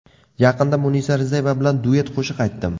Yaqinda Munisa Rizayeva bilan duet qo‘shiq aytdim.